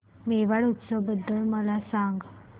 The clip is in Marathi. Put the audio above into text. मेवाड उत्सव बद्दल मला सांग